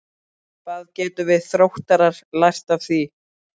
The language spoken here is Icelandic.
Hvað getum við Þróttarar lært af því?